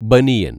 ബനിയന്‍